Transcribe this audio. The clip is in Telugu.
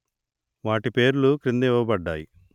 వాటి పేర్లు క్రింద ఇవ్వబడ్డాయి